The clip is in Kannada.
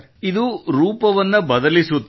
ಇದು ರೂಪವನ್ನು ಬದಲಿಸುತ್ತದೆ